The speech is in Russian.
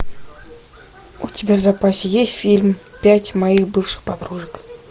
у тебя в запасе есть фильм пять моих бывших подружек